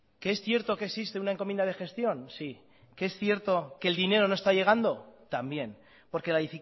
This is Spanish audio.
que es cierto que existe una encomienda de gestión sí que es cierto que el dinero no está llegando también porque la